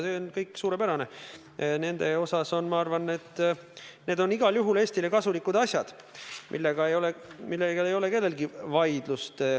See on kõik suurepärane ja ma arvan, et need on igal juhul Eestile kasulikud asjad, mille vastu ei vaidle keegi.